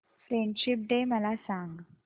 friendship day मला सांग